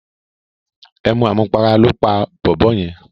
Emu àmupara lóó pa bòbó yen.